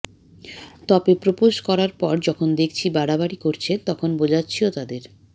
তবে প্রোপোজ করার পর যখন দেখছি বাড়াবাড়ি করছে তখন বোঝাচ্ছিও তাদের